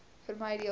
vermy deel gerus